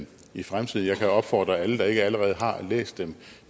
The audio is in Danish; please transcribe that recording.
i fremtiden jeg kan opfordre alle der ikke allerede har læst dem